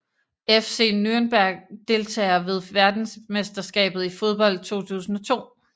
FC Nürnberg Deltagere ved verdensmesterskabet i fodbold 2002